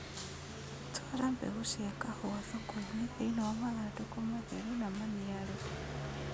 Twara mbegũ cia kahũa thokoinĩ thĩinĩ wa mathandũkũ matheru na maniaru